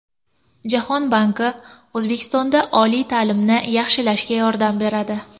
Jahon banki O‘zbekistonda oliy ta’limni yaxshilashga yordam beradi .